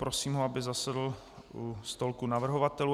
Prosím ho, aby zasedl ke stolku navrhovatelů.